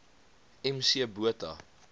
m c botha